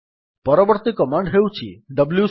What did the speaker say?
ପରବର୍ତ୍ତୀ କମାଣ୍ଡ୍ ହେଉଛି ଡବ୍ଲ୍ୟୁସି